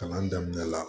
Kalan daminɛ la